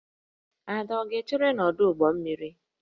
Ada ọ ga-echere n'ọdụ ụgbọ mmiri?